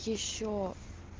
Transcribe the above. ещё